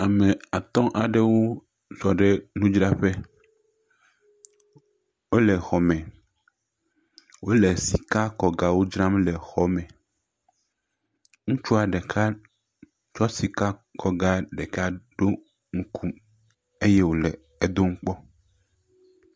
Ame atɔ̃ aɖewo zɔ̃ ɖe nudzraƒe. Wole xɔme. Wole sikakɔgawo dzram le xɔ me. Ŋutsu ɖeka kɔ sikakɔga ɖeka ɖo ŋku eye wole edom kpɔ.